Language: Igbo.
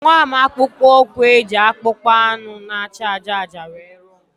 Enwere m akpụkpọ ụkwụ e ji akpụkpọ anụ na acha ájá ájá were rụọ